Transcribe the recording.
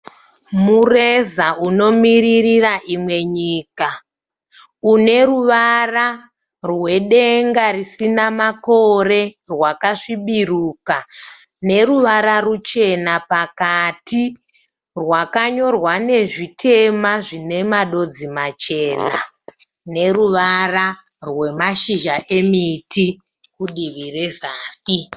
Mureza unomiririra imwe nyika une ruvara rwedenga risina makore rwakasvibiruka neruvara ruchena pakati. Rwakanyorwa nezvitema zvine madodzi machena neruvara rwemashizha emiti kudivi rezasi.